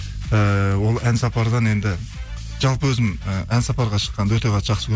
ііі ол ән сапардан енді жалпы өзім і ән сапарға шыққанды өте қатты жақсы